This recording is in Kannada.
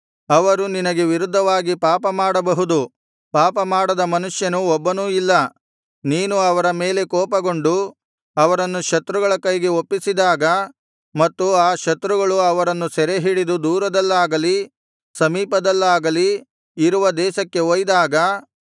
ಅವರು ನಿನಗೆ ವಿರುದ್ಧವಾಗಿ ಪಾಪ ಮಾಡಬಹುದು ಪಾಪ ಮಾಡದ ಮನುಷ್ಯನು ಒಬ್ಬನೂ ಇಲ್ಲ ನೀನು ಅವರ ಮೇಲೆ ಕೋಪಗೊಂಡು ಅವರನ್ನು ಶತ್ರುಗಳ ಕೈಗೆ ಒಪ್ಪಿಸಿದಾಗ ಮತ್ತು ಆ ಶತ್ರುಗಳು ಅವರನ್ನು ಸೆರೆಹಿಡಿದು ದೂರದಲ್ಲಾಗಲಿ ಸಮೀಪದಲ್ಲಾಗಲಿ ಇರುವ ದೇಶಕ್ಕೆ ಒಯ್ದಾಗ